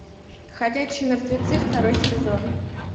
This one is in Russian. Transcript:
ходячие мертвецы второй сезон